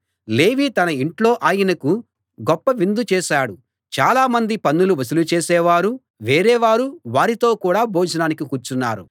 లేవీ తన ఇంట్లో ఆయనకు గొప్ప విందు చేశాడు చాలా మంది పన్నులు వసూలు చేసే వారూ వేరే వారూ వారితో కూడ భోజనానికి కూర్చున్నారు